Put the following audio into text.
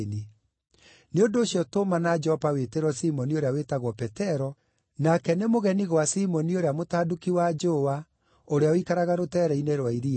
Nĩ ũndũ ũcio tũmana Jopa wĩtĩrwo Simoni ũrĩa wĩtagwo Petero, nake nĩ mũgeni gwa Simoni ũrĩa mũtanduki wa njũũa, ũrĩa ũikaraga rũtere-inĩ rwa iria.’